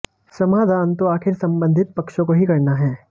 समाधान तो आखिरकार संबंधित पक्षों को ही करना है